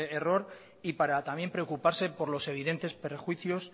error y para también preocuparse por los evidentes perjuicios